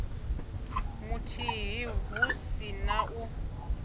muthihi hu si na u